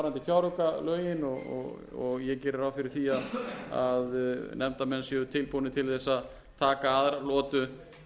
fjáraukalögin og ég geri ráð fyrir háttvirta að nefndarmenn séu tilbúnir til þess að taka aðra lotu